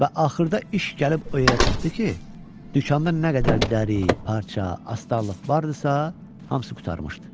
Və axırda iş gəlib o yerə çatdı ki, dükanda nə qədər dəri, parça, astarlıq var idisə, hamısı qurtarmışdı.